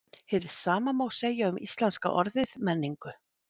Hið sama má segja um íslenska orðið menningu.